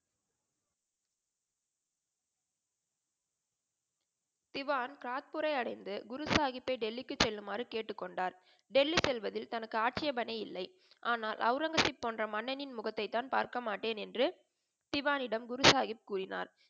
திவான் காட்புரை அடைந்து குரு சாஹிப்பை டெல்லிக்கு செல்லுமாறு கேட்டு கொண்டார். டெல்லி செல்வதில் தனக்கு ஆட்சேபனை இல்லை. ஆனால் அவுரங்கசீப் போன்ற மன்னனின் முகத்தை தான் பார்க்கமாட்டேன் என்று திவானிடம் குரு சாஹிப் கூறினார்.